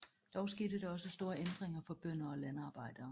Dog skete der også store ændringer for bønder og landarbejdere